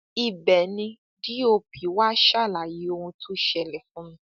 ibẹ ni dop wá ṣàlàyé ohun tó ṣẹlẹ fún mi